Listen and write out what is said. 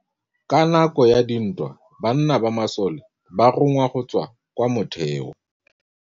Ka nakô ya dintwa banna ba masole ba rongwa go tswa kwa mothêô.